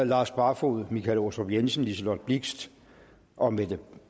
lars barfoed michael aastrup jensen liselott blixt og mette